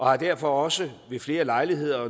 har derfor også ved flere lejligheder